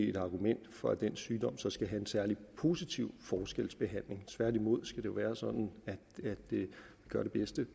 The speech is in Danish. et argument for at den sygdom så skal have en særlig positiv forskelsbehandling tværtimod skal det være sådan at vi gør det bedste